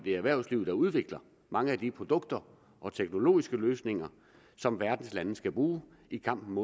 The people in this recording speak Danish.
er erhvervslivet der udvikler mange af de produkter og teknologiske løsninger som verdens lande skal bruge i kampen